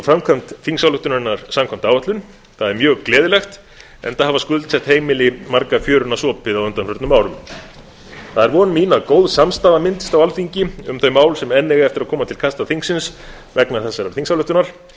framkvæmd þingsályktunarinnar samkvæmt áætlun það er mjög gleðilegt enda hafa skuldsett heimili marga fjöruna sopið á undanförnum árum það er von mín að góð samstaða myndist á alþingi um þau mál sem enn eiga eftir að koma til kasta þingsins vegna þessarar þingsályktunar